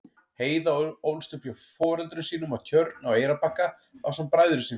Heiða ólst upp hjá foreldrum sínum á Tjörn á Eyrarbakka ásamt bræðrum sínum.